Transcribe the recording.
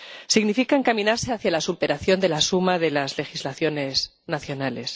Significa encaminarse hacia la superación de la suma de las legislaciones nacionales.